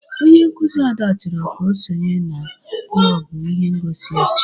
Onye nkuzi Ada chọrọ ka o sonye n'klob ihe ngosi echi.